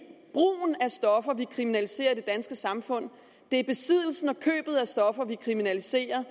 er stoffer vi kriminaliserer i det danske samfund det er besiddelsen og købet af stoffer vi kriminaliserer